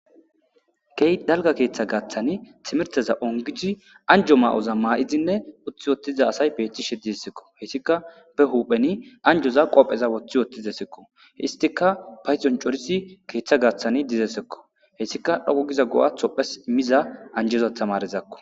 Kehi daliga keeththa gaththani timiriteza onigidinne anjo mayiza mayidi uttida asayi betishe desikko hesikka be huphezan anijoza qoppeza woththi utidwsikko hesikka payidoni coridi keththa gaththani dizayisakko hesikka anjetida tamaretakko